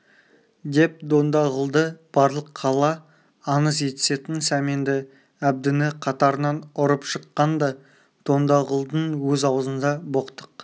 деп дондағұлды барлық қала аңыз етісетін сәменді әбдіні қатарынан ұрып жыққан да дондағұлдың өзі аузында боқтық